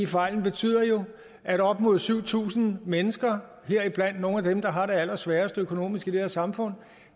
fejlen betyder jo at op imod syv tusind mennesker heriblandt nogle af dem der har det allersværest økonomisk i det her samfund